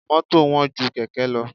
Mọ́tò wọ́n ju Kẹ̀kẹ́ lọ.